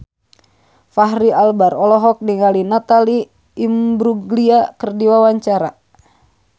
Fachri Albar olohok ningali Natalie Imbruglia keur diwawancara